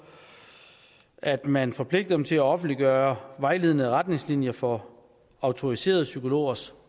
at man forpligter dem til at offentliggøre vejledende retningslinjer for autoriserede psykologers